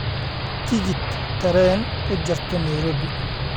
tigidh tareen u jarto nairobi